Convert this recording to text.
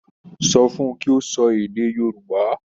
Sọ fun kí ó sọ èdè Yorùbá.